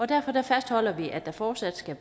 derfor fastholder vi at der fortsat skal